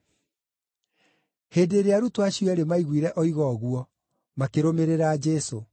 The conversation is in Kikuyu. Hĩndĩ ĩrĩa arutwo acio eerĩ maiguire oiga ũguo, makĩrũmĩrĩra Jesũ.